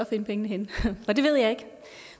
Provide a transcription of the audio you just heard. finde pengene henne og det ved jeg ikke